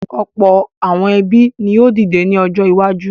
Ọ̀pọ̀ àwọn ẹbí ni yóò dìde ní ọjọ́ iwájú.